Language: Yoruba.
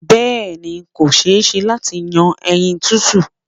Bẹ́ẹ̀ ni, kò ṣe-é-ṣe láti yan ẹyin tútù.